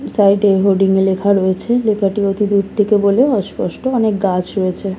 সাইডে হোডিং এ লেখা রয়েছে লেখাটি অতি দূর থেকে বলে অস্পষ্ট অনেক গাছ রয়েছে।